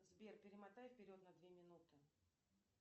сбер перемотай вперед на две минуты